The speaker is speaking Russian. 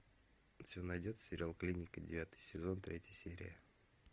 у тебя найдется сериал клиника девятый сезон третья серия